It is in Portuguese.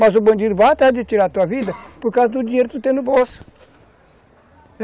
Mas o bandido vai atrás de tirar tua vida por causa do dinheiro que tu tem no bolso.